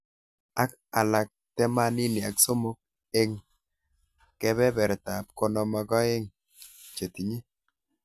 Ak alak temanini ak somok eng kebeberta ab konom ak aeng chetinye.